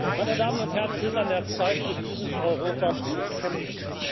Meine Damen und Herren, es ist an der Zeit, für dieses Europa zu kämpfen.